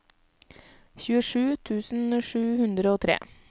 tjuesju tusen sju hundre og tre